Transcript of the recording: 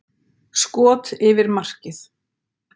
Skot yfir markið.